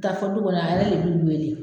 Taa fɔ du kɔnɔ a yɛrɛ de bɛ k'i wele.